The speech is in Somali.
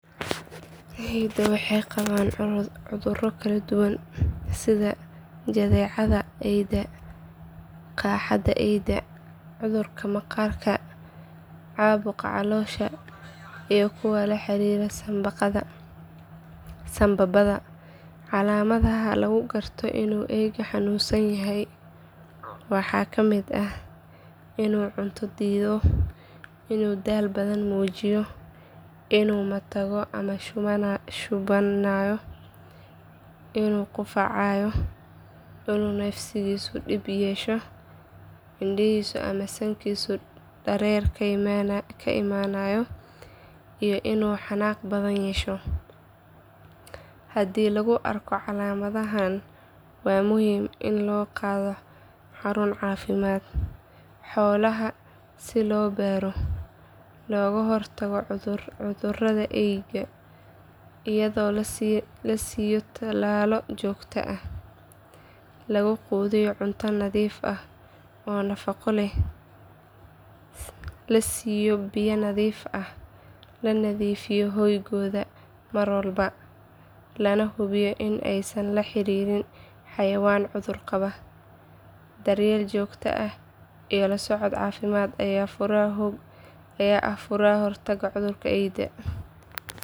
Eyda waxay qabaan cuduro kala duwan sida jadeecada eyda, qaaxada eyda, cudurka maqaarka, caabuqa caloosha iyo kuwa la xiriira sanbabada. Calaamadaha lagu garto inuu eygu xanuunsan yahay waxaa ka mid ah inuu cunto diido, inuu daal badan muujiyo, inuu matagayo ama shubanayo, inuu qufacayo, inuu neefsigiisu dhib yeesho, indhihiisa ama sankiisu dareere ka imaanayo iyo inuu xanaaq badan yeesho. Haddii lagu arko calaamadahan waa muhiim in loo qaado xarun caafimaad xoolaha si loo baaro. Looga hortagi karo cudurrada eyda iyadoo la siiyo tallaallo joogto ah, la quudiyo cunto nadiif ah oo nafaqo leh, la siiyo biyo nadiif ah, la nadiifiyo hoygooda mar walba, lana hubiyo in aysan la xiriirin xayawaan cudur qaba. Daryeel joogto ah iyo la socod caafimaad ayaa ah furaha ka hortagga cudurrada eyda.